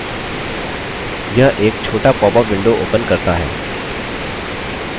यह एक छोटा popअप window opens करता है